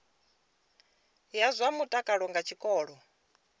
ya zwa mutakalo nga tshikolo